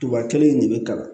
Tuba kelen de bɛ kalan